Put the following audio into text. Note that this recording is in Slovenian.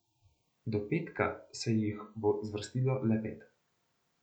Do petka se jih bo zvrstilo le pet.